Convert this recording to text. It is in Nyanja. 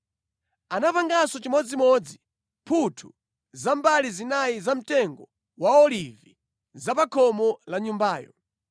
Anapanganso chimodzimodzi mphuthu za mbali zinayi za mtengo wa olivi za pa khomo la Nyumbayo.